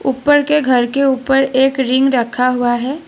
ऊपर के घर के ऊपर एक रिंग रखा हुआ है।